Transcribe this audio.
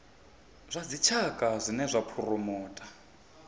zwa dzitshaka zwine zwa phuromotha